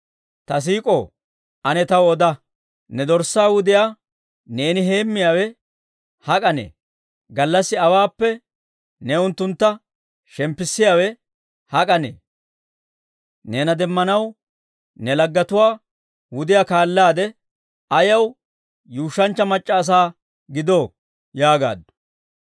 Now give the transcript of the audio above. Ta siik'ow, ane taw oda; ne dorssaa wudiyaa neeni heemmiyaawe hak'anee? Gallassi awaappe ne unttuntta shemppisiyaawe hak'anee? Neena demmanaw ne laggetuwaa wudiyaa kaalaade, ayaw yuushshanchcha mac'c'a asaa gidoo? yaagaaddu.